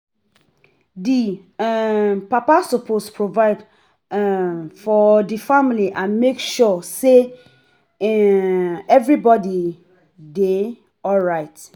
Di um papa suppose provide um for di family and make sure sey um everybodi dey alright